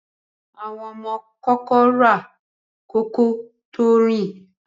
Ọmọ ma kókó rà kò kọ tó rin.